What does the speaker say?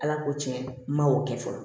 Ala ko tiɲɛ n ma o kɛ fɔlɔ